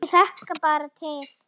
Ég hlakka bara til